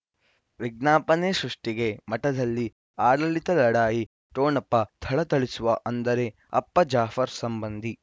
ವಿಜ್ಞಾಪನೆ ಸೃಷ್ಟಿಗೆ ಮಠದಲ್ಲಿ ಆಡಳಿತ ಲಢಾಯಿ ಠೊಣಪ ಥಳಥಳಿಸುವ ಅಂದರೆ ಅಪ್ಪ ಜಾಫರ್ ಸಂಬಂಧಿ